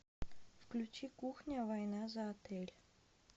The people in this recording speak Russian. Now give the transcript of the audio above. включи кухня война за отель